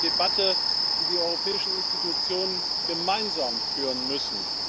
Dies ist eine Debatte, die die europäischen Institutionen gemeinsam führen müssen.